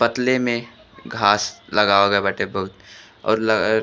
पतले में घास लगावल गईल बाटे बहुत और अ --